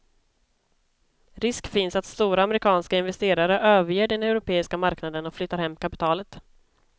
Risk finns att stora amerikanska investerare överger den europeiska marknaden och flyttar hem kapitalet.